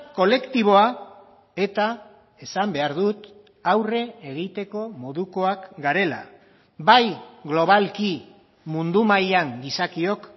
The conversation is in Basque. kolektiboa eta esan behar dut aurre egiteko modukoak garela bai globalki mundu mailan gizakiok